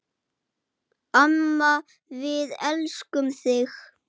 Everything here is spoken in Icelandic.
Amma, við elskum þig.